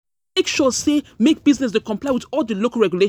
sure say, make business dey comply with all di local.